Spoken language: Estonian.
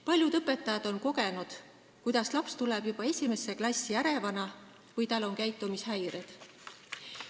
Paljud õpetajad on kogenud, et laps tuleb juba esimesse klassi ärevana või on tal käitumishäired.